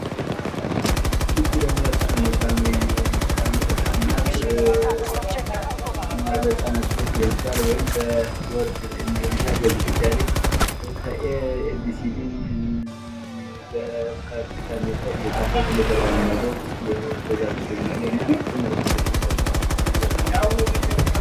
ይች ደግሙ በጣም የምታውር ህፃን ናት በቦርድ ላይ የ አንግሊዘኛ ፅሁፍ እየፃፈች በትምህርት ላይ ያለ ምስል ነው።